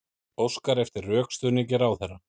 Óskar eftir rökstuðningi ráðherra